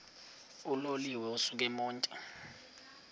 uloliwe ukusuk emontini